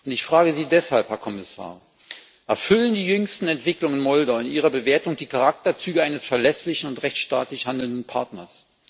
Ich frage Sie deshalb, Herr Kommissar Erfüllen die jüngsten Entwicklungen in Moldau in Ihrer Bewertung die Charakterzüge eines verlässlichen und rechtsstaatlich handelnden Partners?